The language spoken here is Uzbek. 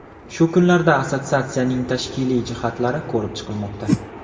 Shu kunlarda assotsiatsiyaning tashkiliy jihatlari ko‘rib chiqilmoqda.